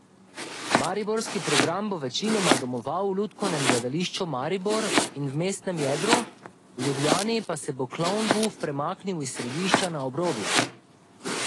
Mariborski program bo večinoma domoval v Lutkovnem gledališču Maribor in v mestnem jedru, v Ljubljani pa se bo Klovnbuf premaknil iz središča na obrobje.